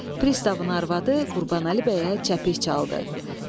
Pristavın arvadı Qurbanəli bəyə çəpih çaldı.